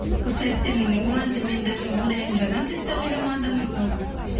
сол себептен ол әнді мен даже ондай ән жазамын деп те ойламадым мысалға